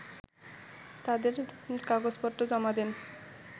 তাদের কাগজপত্র জমা দেন